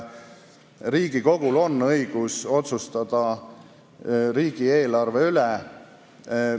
Riigikogul on õigus otsustada riigieelarve üle.